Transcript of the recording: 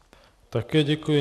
Také děkuji.